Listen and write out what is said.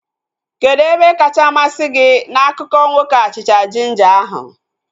Kedụ ebe kacha masị gị na akụkọ nwoke achịcha jinja ahu?